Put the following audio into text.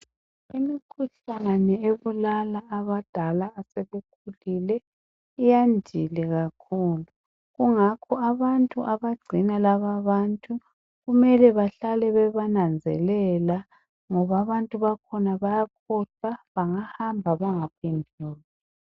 Imikhuhlane ebulala abadala asebekhulile iyandile kakhulu, kungakho abantu abagcina lababantu kumele bahlale bebananzelela ngoba abantu bakhona bayakhohlwa bangahamba bengaphenduki.